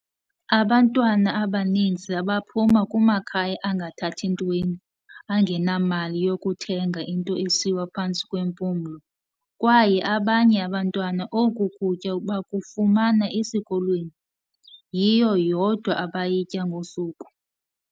"Abantwana abaninzi abaphuma kumakhaya angathathi ntweni, angenamali yokuthenga into esiwa phantsi kwempumlo, kwaye abanye abantwana oku kutya bakufumana esikolweni, yiyo yodwa abayitya ngosuku."